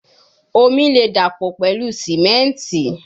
Omi le dapọ pẹlu simenti